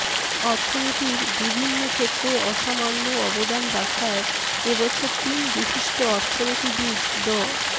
অর্থনীতির বিভিন্ন ক্ষেত্রে অসামান্য অবদান রাখায় এবছর তিন বিশিষ্ট অর্থনীতিবিদ ড